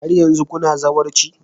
Har yanzu kuna zawarci?